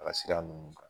A ka sira nunnu kan